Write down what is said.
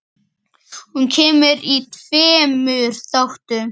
Hún kemur í tveimur þáttum.